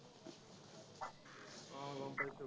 আহ গম পাইছো।